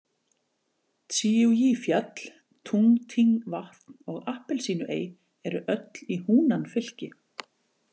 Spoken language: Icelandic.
Tsíú- Jí- fjall, Túng- Tíng- vatn og Appelsínuey eru öll í Húnan- fylki.